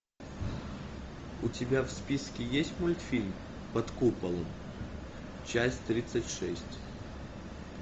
у тебя в списке есть мультфильм под куполом часть тридцать шесть